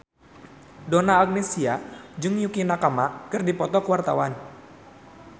Donna Agnesia jeung Yukie Nakama keur dipoto ku wartawan